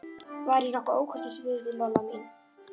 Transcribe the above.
Var ég nokkuð ókurteis við þig, Lolla mín?